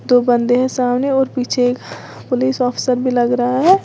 दो बंदे हैं सामने और पीछे एक पुलिस ऑफिसर भी लग रहा है।